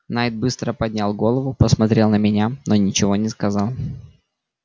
найд быстро поднял голову посмотрел на меня но ничего не сказал